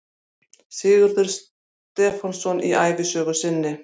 Sigurður Stefánsson í ævisögu sinni